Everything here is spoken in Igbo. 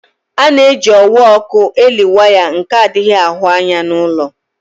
Ana-eji ọwa ọkụ eli waya nke adighi ahụ anya n'ulọ.